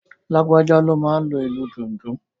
Lágbájá ló máa n lo ìlù dundun